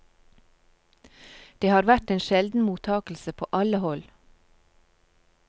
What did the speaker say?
Det har vært en sjelden mottagelse på alle hold.